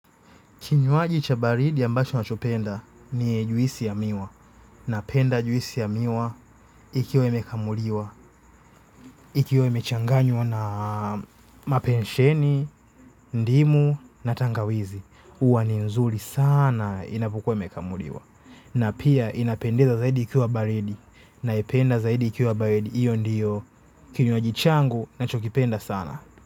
Kinywaji cha baridi ambacho nachopenda ni juisi ya miwa napenda juisi ya miwa ikiwa imekamuliwa, ikiwe imechanganywa na mapensheni, ndimu na tangawizi, huwa ni nzuri sana inapokuwa imekamuliwa. Na pia inapendeza zaidi ikiwa baridi na ipenda zaidi ikiwa baridi, hiyo ndiyo kinywaji changu na chokipenda sana.